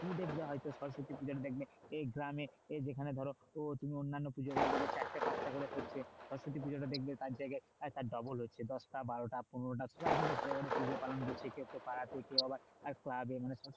তুমি দেখবে হয়তো সরস্বতী পুজো দেখবে এই গ্রামে এই যেখানে ধরো অন্যান্য পুজো গুলো চারটে পাঁচটা করে করছে সরস্বতী পুজোটা দেখবে তার জায়গায় double হচ্ছে দশটা, বারোটা, পনেরোটা সবাই কিন্তু ঘরে ঘরে পুজো পালন করছে কেউ পাড়ার পুজো কেউ আবার club এর